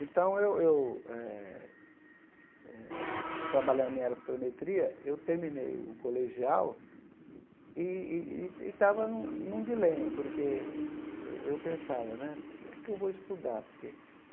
Então eu eu eh eh, trabalhando em aerofotogrametria, eu terminei o colegial e e e e estava num num dilema, porque eu eu pensava né, por que é que eu vou estudar por que?